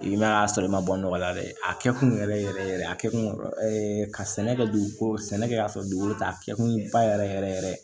I ma y'a sɔrɔ i ma bɔ nɔgɔla dɛ a kɛ kun yɛrɛ yɛrɛ ye a kɛkun kun ɛɛ ka sɛnɛ kɛ dugukolo sɛnɛkɛ la dugukolo ta a kɛ kun ye ba yɛrɛ yɛrɛ yɛrɛ